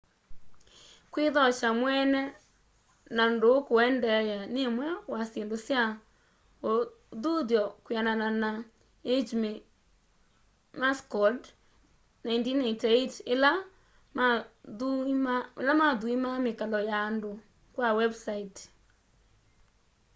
kwithokya mweene” na ndúú kuendeea” ni imwe wa syindu sya uthuthyo kwianana na eighmey mccord 1988 ila mathuimaa mikalo ya andu kwa wembusaiti